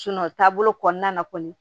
taabolo kɔnɔna na kɔni